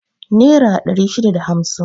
Nera ɗari shida da hamsin